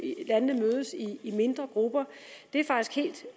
lande mødes i mindre grupper det er faktisk